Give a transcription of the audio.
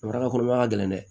Maraka kɔnɔma ka gɛlɛn dɛ